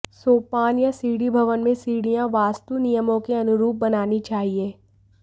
सोपान या सीढ़ीभवन में सीढि़यां वास्तु नियमों के अनुरूप बनानी चाहिए